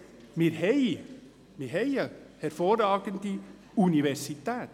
Wir haben ja eine hervorragende Universität.